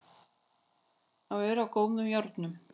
Að vera á góðum járnum